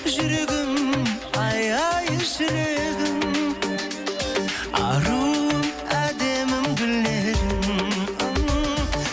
жүрегім ай ай жүрегім аруым әдемім гүл едің